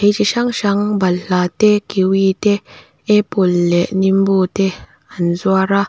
thei chi hrang hrang balhla te kiui te apple leh mango te an zuar a.